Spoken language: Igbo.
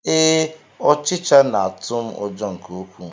Ee, ọchịcha na-atụ m ụjọ nke ukwuu